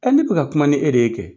Ne bɛ ka kuma ni e de ye kɛ.